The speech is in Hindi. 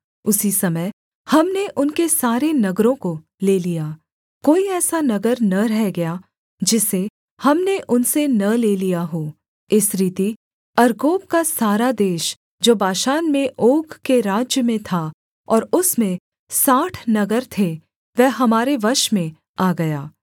उसी समय हमने उनके सारे नगरों को ले लिया कोई ऐसा नगर न रह गया जिसे हमने उनसे न ले लिया हो इस रीति अर्गोब का सारा देश जो बाशान में ओग के राज्य में था और उसमें साठ नगर थे वह हमारे वश में आ गया